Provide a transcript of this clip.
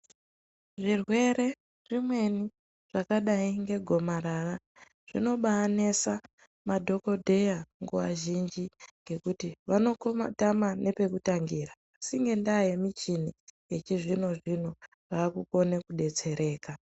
Zvirwere zvimweni zvakadai ngegomarara zvinobainesa madhokodheya nguva zhinji ngekuti vonokomatama nepekutangira asi ngenda yemichini yechizvino zvino vakukone kudetsereka.